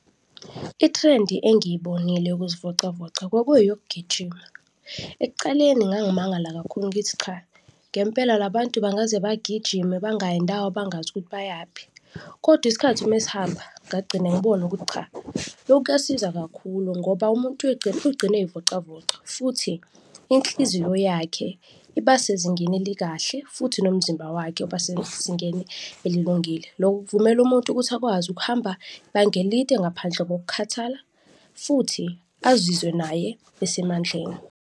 I-trend-i engiyibonile yokuzivocavoca kwakungeyokugijima. Ekucaleni ngangimangala kakhulu ngithi cha, ngempela la bantu bangaze bagijime bangayi ndawo, bangazukuthi bayaphi kodwa isikhathi mesihamba ngagcine ngibona ukuthi cha, loku kuyasiza kakhulu ngoba umuntu ugcine eyivocavoca futhi inhliziyo yakhe iba sezingeni elikahle futhi nomzimba wakhe uba sezingeni elilungile. Loku kuvumela umuntu ukuthi akwazi ukuhamba ibanga elide ngaphandle kokukhathala futhi azizwe naye esemandleni.